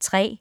3.